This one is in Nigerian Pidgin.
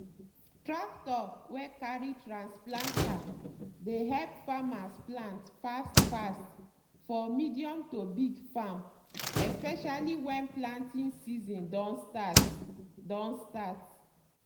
tractor wey carry trans planter dey help farmers plant fast-fast for medium to big farm especially when planting season don start. don start.